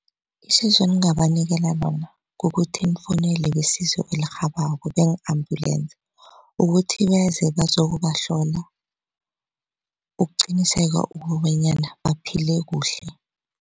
Isizo eningabanikela lona kukuthi nifowunele besizo elirhabako beeng-ambulensi ukuthi beze bazokubahlola ukuqiniseka ukobanyana baphile kuhle.